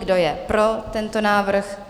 Kdo je pro tento návrh?